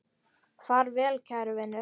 Far vel, kæri vinur.